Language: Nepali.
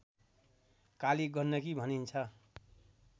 काली गण्डकी भनिन्छ